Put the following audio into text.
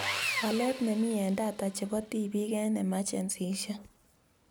Walet nemitei eng data chebo tibiik eng emergencies